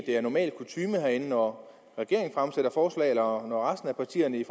det er normal kutyme herinde at når regeringen eller resten af partierne i